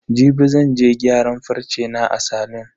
Jibi zan je gyaran farce na a salon.